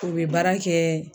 U bi baara kɛ